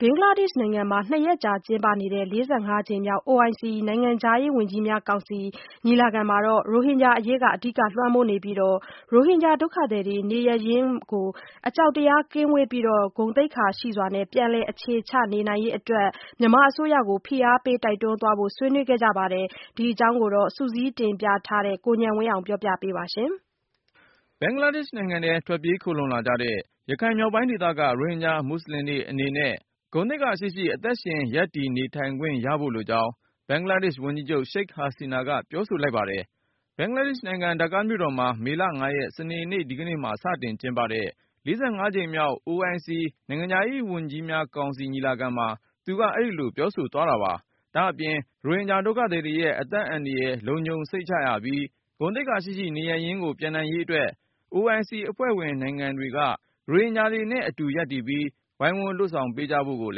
ဘင်္ဂလားဒေ့ရှ်နိုင်ငံမှာ ၂ ရက်ကြာကျင်းပနေတဲ့ ၄၅ ကြိမ်မြောက် OIC နိုင်ငံခြားရေးဝန်ကြီးများကောင်စီ ညီလာခံမှာ ရိုဟင်ဂျာအရေးက အဓိကလွှမ်းမိုးနေပြီး၊ ရိုဟင်ဂျာဒုက္ခသည်တွေ နေရပ်ရင်းမှာ အကြောက်တရား ကင်းဝေးပြီး၊ ဂုဏ်သိက္ခာရှိစွာနဲ့ ပြန်လည်အခြေချနိုင်ရေး အတွက် မြန်မာအစိုးရကို ဖိအားပေး တိုက်တွန်းသွားဖို့ ဆွေးနွေးခဲ့ကြပါတယ်။ ဒီအကြောင်း ကိုဉာဏ်ဝင်းအောင်က စုစည်းတင်ပြထား ပါတယ်။ ဘင်္ဂလားဒေ့ရှ်နိုင်ငံထဲ ထွက်ပြေးခိုလှုံလာကြတဲ့ ရခိုင်မြောက်ပိုင်းဒေသက ရိုဟင်ဂျာ မွတ်ဆလင်တွေအနေနဲ့ ဂုဏ်သိက္ခာရှိရှိ အသက်ရှင် ရပ်တည်နေထိုင်ခွင့် ရဖို့လိုကြောင်း ဘင်္ဂလားဒေ့ရှ်ဝန်ကြီးချုပ် Sheikh Hasina က ပြောဆိုလိုက်ပါတယ်။ ဘင်္ဂလားဒေ့ရှ်နိုင်ငံ ဒါကာမြို့တော်မှာ မေလ ၅ ရက်၊ စနေ ဒီကနေ့မှာ စတင်ကျင်းပတဲ့ ၄၅ ကြိမ်မြောက် OIC နိုင်ငံခြားရေးဝန်ကြီးများကောင်စီ ညီလာခံမှာ သူက အဲဒီလို ပြောဆိုသွား တာပါ။ ဒါ့အပြင် ရိုဟင်ဂျာဒုက္ခသည်တွေရဲ့ အသက်အန္တရာယ် လုံခြုံစိတ်ချရပြီး၊ ဂုဏ်သိက္ခာရှိရှိ နေရပ်ရင်းကို ပြန်နိုင်ရေးအတွက် OIC အဖွဲ့ဝင်နိုင်ငံတွေက ရိုဟင်ဂျာတွေနဲ့အတူ ရပ်တည်ပြီး ဝိုင်းဝန်းလုပ်ဆောင်ပေးကြဖို့ကို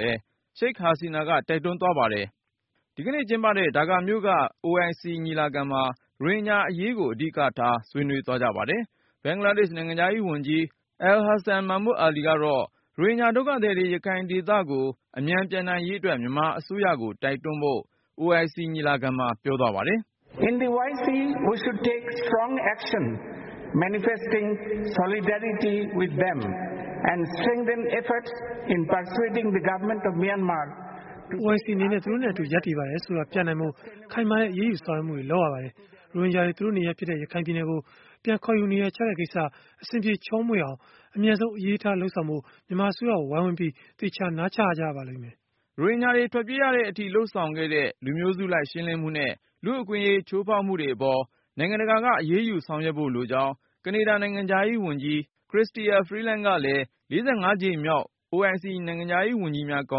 လည်း Sheikh Hasina က တိုက်တွန်းသွားပါတယ်။ ဒီကနေ့ကျင်းပတဲ့ ဒါကာမြို့က OIC ညီလာခံမှာ ရိုဟင်ဂျာအရေးကို အဓိကထား ဆွေးနွေးသွားပါတယ်။ ဘင်္ဂလားဒေ့ရှ် နိုင်ငံခြားရေးဝန်ကြီး Abul Hassan Mahmood Ali ကတော့ ရိုဟင်ဂျာဒုက္ခသည်တွေ ရခိုင်ဒေသကို အမြန် ပြန်နိုင်ရေးအတွက် မြန်မာအစိုးရကို တိုက်တွန်းဖို့ OIC ညီလာခံမှာ ပြောသွားပါတယ်။ "OIC အနေနဲ့ သူတို့နဲ့ အတူရပ်တည်ပါတယ်ဆိုတာပြနိုင်ဖို့ ခိုင်မာတဲ့အရေးယူဆောင်ရွတ်မှုတွေ လုပ်ရပါတယ်။ ရိုဟင်ဂျာတွေ သူတို့နေရပ်ဖြစ်တဲ့ ရခိုင်ပြည်နယ်ကို ပြန်ခေါ်ယူနေရာချတဲ့ကိစ္စ အဆင်ပြေချောမွေ့အောင် အမြန်ဆုံး အရေးထားလုပ်ဆောင်ဖို့ မြန်မာအစိုးရကို ဝိုင်းဝန်းပြီး သေချာနားချကြရပါမယ်။" ရိုဟင်ဂျာတွေ ထွက်ပြေးရတဲ့အထိ လုပ်ဆောင်ခဲ့တဲ့ လူမျိုးစုလိုက် ရှင်းလင်းမှုနဲ့ လူ့အခွင့်အရေး ချိုးဖေါက်မှုတွေအပေါ် နိုင်ငံတကာက အရေးယူဆောင်ရွက်ဖို့ လိုကြောင်း ကနေဒါနိုင်ငံခြားရေးဝန်ကြီး Chrystia Freeland ကလည်း ၄၅ ကြိမ်မြောက် OIC နိုင်ငံခြားရေး ဝန်ကြီးများကော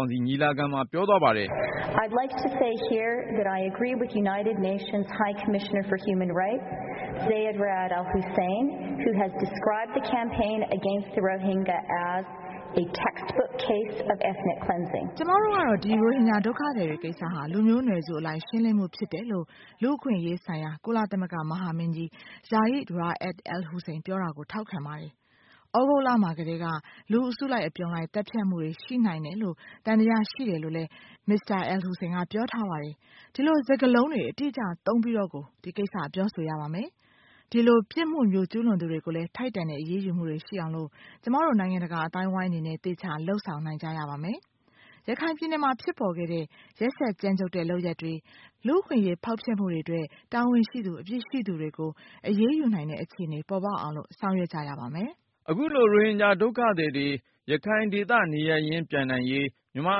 င်စီ ညီလာခံမှာပြောသွားပါတယ်။ "ကျွန်မတို့ကတော့ ဒီရိုဟင်ဂျာ ဒုက္ခသည်တွေကိစ္စဟာ လူမျိူးနွယ်စုအလိုက်ရှင်းလင်းမှုဖြစ်တယ်လို့ လူ့အခွင့် အရေး ဆိုင်ရာ ကုလသမဂ္ဂမဟာမင်းကြီး Zeid Ra'ad Al Hussein ပြောတာကို ထောက်ခံပါတယ်။ သြဂုတ်လမှာကတည်းက လူအစုလိုက်အပြုံလိုက် သတ်ဖြတ်မှုတွေ ရှိနိုင်တယ်လို့ သံသယရှိတယ်လို့လည်း Mr. Al Hussein ပြောထားပါတယ်။ ဒီလိုစကားလုံးတွေအတိအကျသုံးပြီးတော့ကို ဒီကိစ္စပြောဆိုရပါမယ်။ ဒီလိုပြစ်မှုမျိုးကျူးလွန်သူတွေကိုလည်း ထိုက်တန်တဲ့အရေးယူမှုတွေရှိအောင်လို့ ကျမတို့ နိုင်ငံတကာအသိုင်းအဝိုင်းအနေနဲ့ အသေအချာလုပ်ဆောင်နိုင်ရပါမယ်။ ရခိုင်ပြည်နယ်မှာ ဖြစ်ပေါ်ခဲ့တဲ့ ရက်စက်ကြမ်းကြုတ်တဲ့လုပ်ရပ်တွေ လူ့အခွင့်အရေးဖောက်ဖျက်မှုတွေအတွက် တာဝန်ရှိသူ၊ အပြစ်ရှိသူတွေကို အရေးယူနိုင်တဲ့အခြေအနေပေါ်ပေါက်အောင်လို့ ဆောင်ရွက်ကြရပါမယ်။" အခုလို ရိုဟင်ဂျာဒုက္ခသည်တွေ ရခိုင်ဒေသ နေရပ်ရင်းပြန်နိုင်ရေး မြန်မာ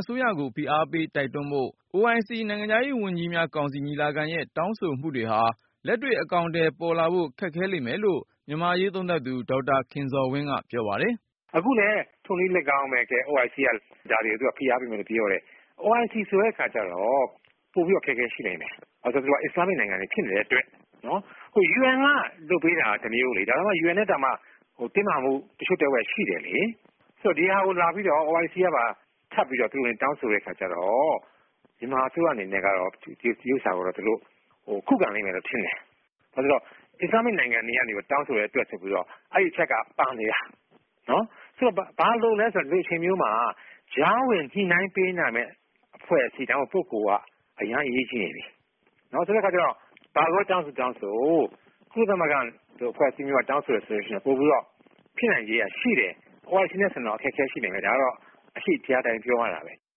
အစိုးရကို ဖိအားပေးတိုက်တွန်းဖို့ OIC နိုင်ငံခြားရေးဝန်ကြီးများ ကောင်စီ ညီလာခံရဲ့တောင်းဆိုမှုတွေဟာ လက်တွေ့ အကောင်အထည်ပေါ်လာဖို့ ခက်ခဲလိမ့်မယ်လို့ မြန်မာ့အရေးသုံးသပ်သူ ဒေါက်တာ ခင်ဇော်ဝင်းက ပြောပါတယ်။ "အခုလည်း ထိုနည်းလည်းကောင်းပဲ၊ OIC က ဒါကို ဖိအားပေးမယ်လို့ပြောတယ်။ OIC ဆိုတဲ့အခါကျတော့ ပိုပြီးအခက်အခဲရှိနိုင်တယ်။ ဘာလို့လည်းဆိုတော့ သူက အစ္စလာမ်မစ်နိုင်ငံတွေ ဖြစ်နေတဲ့အတွက်.. နော်။ UN ကပေးတာက တမျိုးလေ။ UN ကတင်းမာမှု တချို့တဝက်ရှိတယ်လေ။ ဆိုတော့ ဒီဟာကိုလာပြီးတော့ OIC ကပါထပ်ပြီးတော့ တွင်တွင်တောင်းဆိုတဲ့ အခါကျတော့ မြန်မာအစိုးရ အနေနဲ့ကတော့ ဒီဥစ္စကိုတော့ သူတို့ ခုခံလိမ့်မယ်လို့ ထင်တယ်။ ဘာလို့လည်း ဆိုတော့ အစ္စလာမ်မစ်နိုင်ငံတွေက တောင်းဆိုတဲ့အတွက်ဆိုပြီးတော့ အဲဒီအချက်က ပါနေတာ။ နော်။ ဆိုတော့ ဘာလိုလည်းဆိုတော့ ဒီအချိန်မျိုးမှာ ကြားဝင်ညှိုနှိုင်းပေးနိုင်မယ့် အဖွဲ့အစည်း၊ ဒါမှမဟုတ် ပုဂ္ဂိုလ်က အရမ်းအရေးကြီးနေပြီ။ ဆိုတဲ့အခါကျတော့ ဘာကိုပဲ တောင်းဆိုတောင်းဆို ကုလသမဂ္ဂလိုအဖွဲ့အစည်းမျိုးကတောင်းဆိုတယ်ဆိုရင် ပိုပြီးတော့ ဖြစ်နိုင်ခြေကရှိတယ်။ OIC နဲ့ ဆိုရင်တော့ အခက်အခဲရှိနိုင်တယ်။ ဒါကတော့ အရှိတရားအတိုင်းပြောရတာပဲ။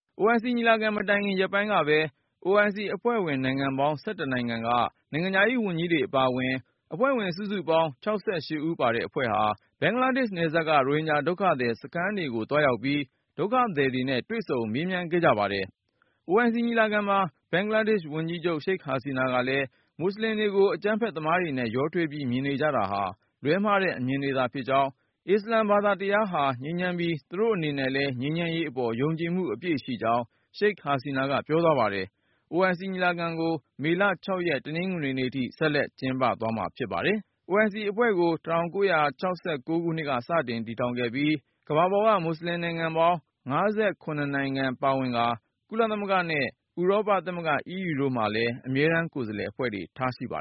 " OIC ညီလာခံ မတိုင်ခင်ရက်ပိုင်းက OIC အဖွဲ့ဝင်နိုင်ငံပေါင်း ၁၁ နိုင်ငံက နိုင်ငံခြားရေးဝန်ကြီးတွေ အပါအဝင် အဖွဲ့ဝင်စုစုပေါင်း ၆၈ ဦးပါတဲ့ အဖွဲ့ဟာ ဘင်္ဂလားဒေ့ရှ်နယ်စပ်က ရိုဟင်ဂျာဒုက္ခသည်စခန်းတွေကို သွားရောက်ပြီး ဒုက္ခသည်တွေနဲ့ တွေ့ဆုံ မေးမြန်းခဲ့ကြပါတယ်။ OIC ညီလာခံမှာ ဘင်္ဂလားဒေ့ရှ်ဝန်ကြီးချုပ် Sheikh Hasina ကလည်း- မွတ်ဆလင်တွေကို အကြမ်းဖက်သမားတွေနဲ့ ရောထွေးပြီး မြင်နေ ကြတာဟာ လွှဲမှားတဲ့ အမြင်တွေသာဖြစ်ကြောင်း၊ အစ္စလမ်ဘာသာတရားဟာ ငြိမ်းချမ်းပြီး သူတို့အနေနဲ့လည်း ငြိမ်းချမ်းရေးအပေါ် ယုံကြည်မှု အပြည့်ရှိကြောင်း Sheikh Hasina ကပြောသွားပါတယ်။ OIC ညီလာခံကို မေလ(၆)ရက် တနင်္ဂနွေနေ့ထိ ဆက်လက်ကျင်းပကြမှာ ဖြစ်ပါတယ်။ OIC အဖွဲ့ကို ၁၉၆၉ ခုနှစ်က စတင်တည်ထောင်တာဖြစ်ပြီး အဖွဲ့ဝင်တွေအဖြစ် ကမ္ဘာပေါ်က မွတ်ဆလင်နိုင်ငံ ၅၇ နိုင်ငံပါဝင်ပြီး တော့ ကုလသမဂ္ဂနဲ့ ဥရောပသမဂ္ဂ EU တို့မှာ အမြဲတမ်းကိုယ်စားလှယ်အဖွဲ့တွေ ရှိပါတယ်